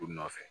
U nɔ nɔfɛ